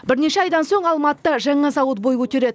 бірнеше айдан соң алматыда жаңа зауыт бой көтереді